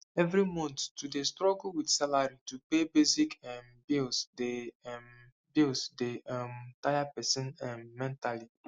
every month to dey struggle with salary to pay basic um bills dey um bills dey um tire person um mentally